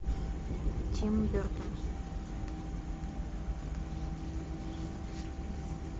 тим бертон